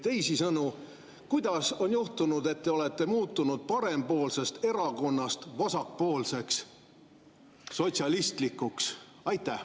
Teisisõnu, kuidas on juhtunud, et te olete muutunud parempoolsest erakonnast vasakpoolseks, sotsialistlikuks?